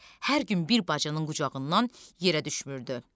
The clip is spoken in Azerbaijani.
Hər gün bir bacının qucağından yerə düşmürdü.